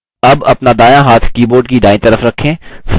अब अपना दायाँ हाथ keyboard की दायीं तरफ रखें